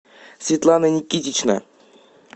светлана никитична